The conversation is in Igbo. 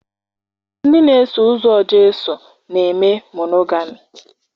Ndị na-eso ụzọ Jesu na-eme monogami